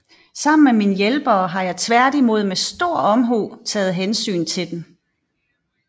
Sammen med mine hjælpere har jeg tværtimod med stor omhu taget hensyn til den